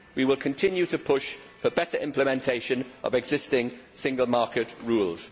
We will continue to push for better implementation of existing single market rules.